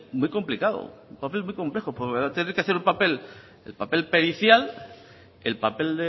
muy complicado un papel muy complejo va a tener que hacer un papel el papel pericial el papel